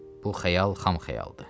Bu xəyal xam xəyaldır.